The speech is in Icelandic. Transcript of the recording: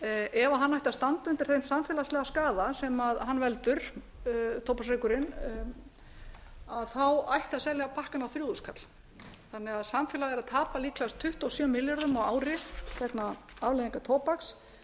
ef hann ætti að standa undir þeim samfélagslega skaða sem hann veldur tóbaksreykurinn þá ætti að selja pakkann á þrjú þúsund kall þannig að samfélagið er að tapa líklegast tuttugu og sjö milljörðum á ári vegna afleiðingar tóbaks